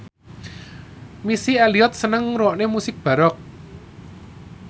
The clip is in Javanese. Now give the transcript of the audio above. Missy Elliott seneng ngrungokne musik baroque